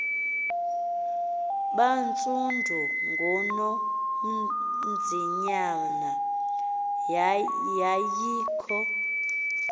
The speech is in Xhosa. bantsundu ngunonzinyana yayikho